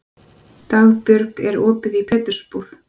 Dagbjörg, er opið í Pétursbúð?